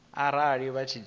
arali vha tshi dzhia tsheo